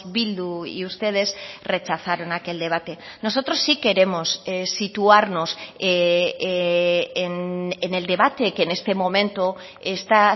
bildu y ustedes rechazaron aquel debate nosotros sí queremos situarnos en el debate que en este momento está